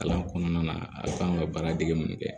Kalan kɔnɔna na a kan ka baaradege mun kɛ